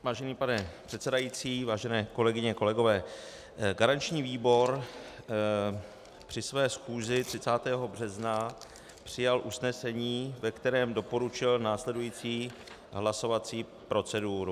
Vážený pane předsedající, vážené kolegyně, kolegové, garanční výbor při své schůzi 30. března přijal usnesení, ve kterém doporučil následující hlasovací proceduru.